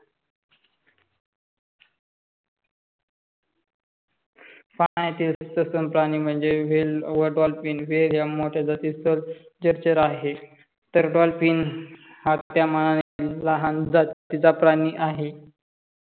पाण्यातील सुसम प्राणी म्हणजे वेल व डॉल्फिन वेल हा मोठ्या जातीस्तवर जलचर आहे. तर डॉल्फिन हा त्या मनाने लहान जातीचा प्राणी आहे.